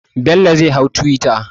Bello zai hau twitter.